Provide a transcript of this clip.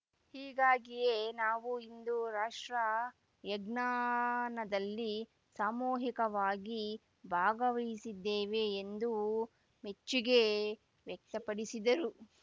ಹೀಗಾಗಿಯೇ ನಾವು ಇಂದು ರಾಷ್ಟ್ರ ಯಜ್ಞನದಲ್ಲಿ ಸಾಮೂಹಿಕವಾಗಿ ಭಾಗವಹಿಸಿದ್ದೇವೆ ಎಂದು ಮೆಚ್ಚುಗೆ ವ್ಯಕ್ತಪಡಿಸಿದರು